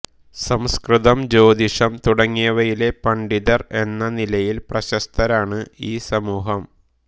സംസ്കൃതം ജ്യോതിഷം തുടങ്ങിയവയിലെ പണ്ഡിതർ എന്ന നിലയിൽ പ്രശസ്തരാണ് ഈ സമൂഹം